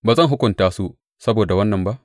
Ba zan hukunta su saboda wannan ba?